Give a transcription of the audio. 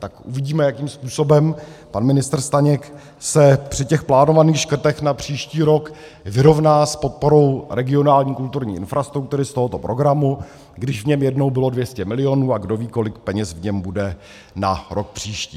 Tak uvidíme, jakým způsobem pan ministr Staněk se při těch plánovaných škrtech na příští rok vyrovná s podporou regionální kulturní infrastruktury z tohoto programu, když v něm jednou bylo 200 milionů a kdo ví, kolik peněz v něm bude na rok příští.